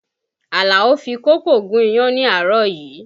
Alao fi kókò gún iyán ni àárọ̀ yìí